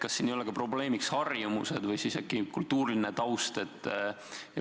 Kas siin ei ole ka probleemiks harjumused või äkki kultuuriline taust?